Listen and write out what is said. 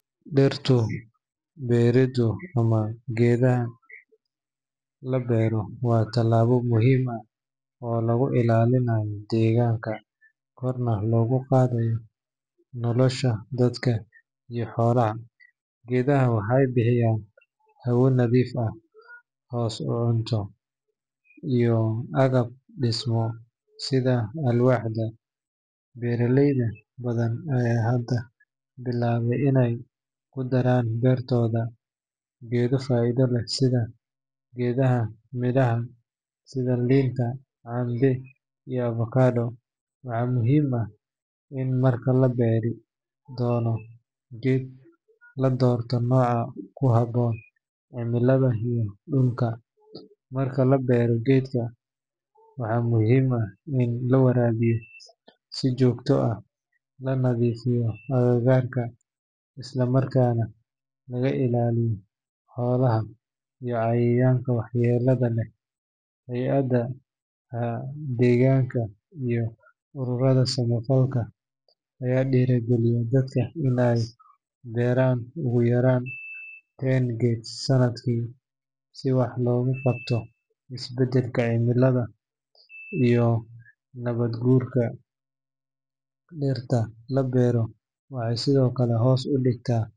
Dhirta beereedu ama geedaha la beero waa tallaabo muhiim ah oo lagu ilaalinayo deegaanka, korna loogu qaadayo nolosha dadka iyo xoolaha. Geedaha waxay bixiyaan hawo nadiif ah, hoos, cunto, iyo agab dhismo sida alwaaxda. Beeraley badan ayaa hadda bilaabay inay ku daraan beertooda geedo faa’iido leh sida geedaha midhaha sida liinta, cambe, iyo avocado. Waxaa muhiim ah in marka la beeri doono geed la doorto nooca ku habboon cimilada iyo dhulka. Marka la beero geedka, waxa muhiim ah in la waraabiyo si joogto ah, la nadiifiyo agagaarka, isla markaana laga ilaaliyo xoolaha iyo cayayaanka waxyeellada leh. Hay’adaha deegaanka iyo ururada samafalka ayaa dhiirrigeliya dadka in ay beeraan ugu yaraan ten geed sanadkii si wax looga qabto isbedelka cimilada iyo nabaad guurka. Dhirta la beero waxay sidoo kale hoos u dhigta.